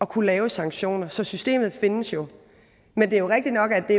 kunne lave sanktioner så systemet findes jo men det er jo rigtigt nok at det